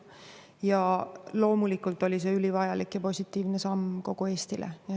Ja loomulikult oli see ülivajalik ja positiivne samm kogu Eestile.